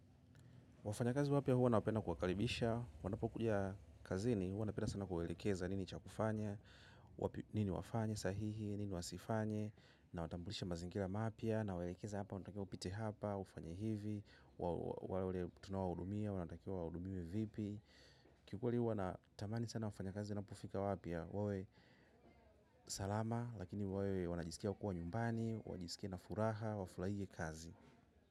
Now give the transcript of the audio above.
Wafanyakazi wapya huwa napenda kuwakaribisha, wanapokuja kazini, huwa napenda sana kuwaelekeza nini cha kufanya, wapi nini wafanye sahihi, nini wasifanye, nawatambulisha mazingira mapya, nawaelekeza hapa, unatakiwa upite hapa, ufanya hivi, wa wa wale tunaowahudumia, wanatakiwa wahudumiwe vipi. Kikweli huwa natamani sana wafanyakazi, wanapofika wapya, wawe salama, lakini wawe wanajisikia kuwa nyumbani, wajisikie na furaha, wafurahie kazi.